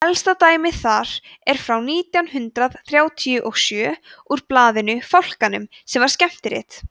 elsta dæmið þar er frá nítján hundrað þrjátíu og sjö úr blaðinu fálkanum sem var skemmtirit